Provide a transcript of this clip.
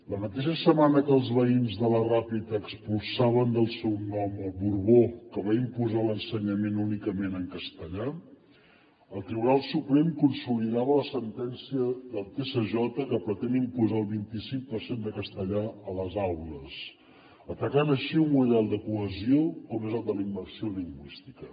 la mateixa setmana que els veïns de la ràpita expulsaven del seu nom el borbó que va imposar l’ensenyament únicament en castellà el tribunal suprem consolidava la sentència del tsj que pretén imposar el vint i cinc per cent de castellà a les aules atacant així un model de cohesió com és el de la immersió lingüística